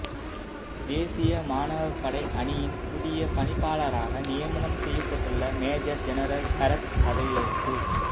தேசிய மாணவ படையணியின் புதிய பணிப்பாளராக நியமனம் செய்யப்பட்டுள்ள மேஜர் ஜெனரல் ஹேரத் பதவியேற்பு